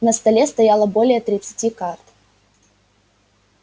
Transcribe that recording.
на столе стояло более тридцати карт